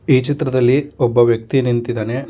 ಈ ಚಿತ್ರದಲ್ಲಿ ಒಬ್ಬ ವ್ಯಕ್ತಿ ನಿಂತಿದಾನೆ.